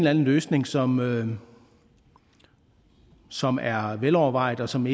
anden løsning som som er velovervejet og som